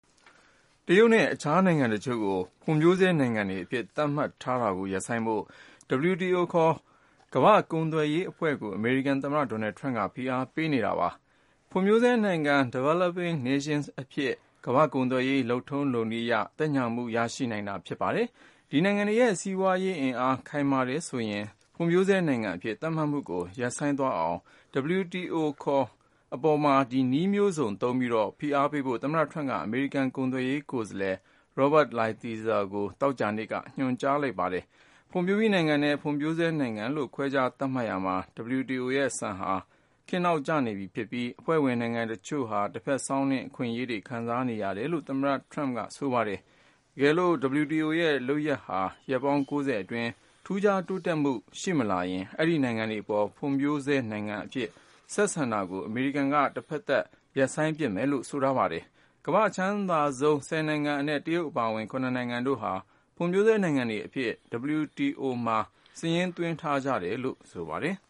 တရုတ်နဲ့ တခြားနိုင်ငံတချို့ကို ဖွံ့ဖြိုးဆဲနိုင်ငံတွေအဖြစ် သတ်မှတ်ထားတာကို ရပ်ဆိုင်းဖို့ WTO ခေါ် ကမ္ဘာ့ကုန်သွယ်ရေးအဖွဲ့ကို အမေရိကန် သမ္မတ ဒေါ်နယ်ထရမ့်က ဖိအားပေးနေပါတယ်။ ဖွံ့ဖြိုးဆဲနိုင်ငံ Developing Nations အဖြစ် ကမ္ဘာ့ကုန်သွယ်ရေး လုပ်ထုံးလုပ်နည်းအရ သက်ညှာမှု ရရှိနိုင်တာ ဖြစ်ပါတယ်။ ဒီနိုင်ငံတွေရဲ့ စီးပွားရေးအင်အား ခိုင်မာတယ်ဆိုရင် ဖွံ့ဖြိုးဆဲနိုင်ငံအဖြစ် သတ်မှတ်မှုကို ရပ်ဆိုင်းသွားအောင် WTO အပေါ် နည်းမျိုးစုံသုံးပြီး ဖိအားပေးဖို့ သမ္မတထရမ့်က အမေရိကန် ကုန်သွယ်ရေးကိုယ်စားလှယ် Robert Lighthizer ကို သောကြာနေ့က ညွှန်ကြားလိုက်ပါတယ်။ ဖွံ့ဖြိုးပြီးနိုင်ငံနဲ့ ဖွံ့ဖြိုးဆဲနိုင်ငံလို့ ခွဲခြားသတ်မှတ်ရာမှာ WTO ရဲ့ စံဟာ ခေတ်နောက်ကျနေပြီဖြစ်ပြီး အဖွ့ဲဝင်နိုင်ငံတချို့ဟာ တဘက်စောင်းနင်း အခွင့်အရေးတွေ ခံစားနေရတယ်လို့ သမ္မတထရမ့်ကဆိုပါတယ်။ တကယ်လို့ WTO ရဲ့လုပ်ရပ်ဟာ ရက်ပေါင်း ၉၀ အတွင်း ထူးခြား တိုးတက်မှု ရှိမလာရင် အဲဒီနိုင်ငံတွေအပေါ် ဖွံ့ဖြိုးဆဲနိုင်ငံတွေအဖြစ် ဆက်ဆံတာကို အမေရိကန်က တဖက်သတ် ရပ်ဆိုင်းပစ်မယ်လို့လည်း ဆိုထားပါတယ်။ ကမ္ဘာ့အချမ်းသာဆုံး ၁၀ နိုင်ငံအနက် တရုတ်အပါအဝင် ခုနစ် နိုင်ငံတို့ဟာ ဖွံ့ဖြိုးဆဲနိုင်ငံတွေအဖြစ် WTO မှာ စာရင်းသွင်းထားကြတယ်လို့ ဆိုပါတယ်။